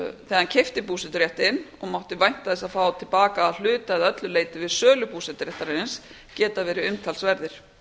hann keypti búseturéttinn og mátti vænta þess að fá til baka að hluta eða öllu leyti við sölu búseturéttarins geta verið umtalsverðir